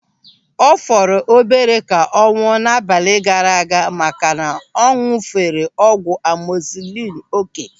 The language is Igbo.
Ọ fọrọ obere ka ọ nwụọ n'abalị gaara aga maka na ọ ñụ̀fere ọgwụ amozilinu oké.